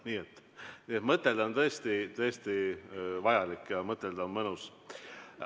Nii et mõtelda on tõesti vajalik ja mõtelda on mõnus.